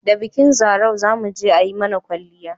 da bikin zarau zamuje ayi mana kwalliya